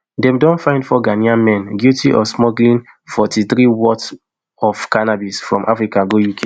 dem don find four ghanaian men guilty of smuggling forty-threem worth of cannabis from africa go uk